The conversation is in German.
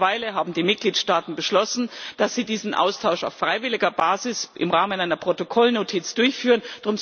Mittlerweile haben die Mitgliedstaaten beschlossen, dass sie diesen Austausch auf freiwilliger Basis im Rahmen einer Protokollnotiz durchführen.